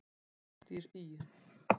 Ódýr í